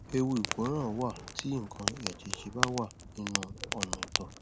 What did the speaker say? ewu ìkóràn wà tí nǹkan àjèjì bá wà nínú ọnà ìtọ